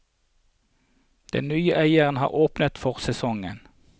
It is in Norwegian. Den nye eieren har åpnet for sesongen.